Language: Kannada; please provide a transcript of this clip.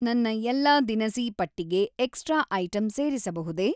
ನನ್ನ ಎಲ್ಲಾ ದಿನಸಿ ಪಟ್ಟಿಗೆ ಎಕ್ಟ್ರ್ರಾ ಐಟಂ ಸೇರಿಸಬಹುದೇ